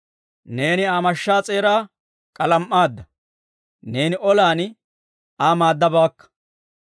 Neeni Aa mashshaa s'eeraa k'alam"aadda; neeni olan Aa maaddabaakka.